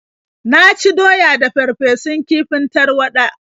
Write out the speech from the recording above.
Na ci doya da farfesun kifin tarwaɗa.